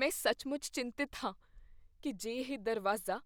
ਮੈਂ ਸੱਚਮੁੱਚ ਚਿੰਤਤ ਹਾਂ ਕੀ ਜੇ ਇਹ ਦਰਵਾਜ਼ਾ